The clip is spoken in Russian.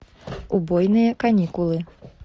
убойные каникулы